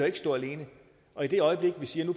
ikke stå alene og i det øjeblik vi siger